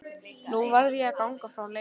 Nú varð ég að ganga frá Leifi.